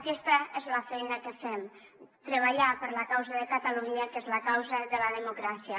aquesta és la feina que fem treballar per la causa de catalunya que és la causa de la democràcia